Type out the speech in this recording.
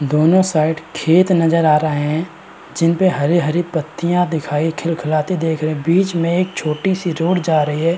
दोनों साइड खेत नजर आ रहे हैं जिनपे हरी-हरी पत्तिया दिखाई खिलखिलाती देख रहे हैं। बीच में एक छोटी-सी रोड जा रही है।